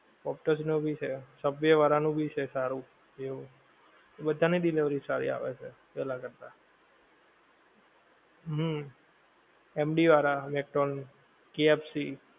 ઓક્ટસ નો ભી છે subway વાળા નું ભી છે સારું બેઓ, બધાં ની delivery સારી આવે છે પેહલા કરતા, હમ MD વાળા, KFC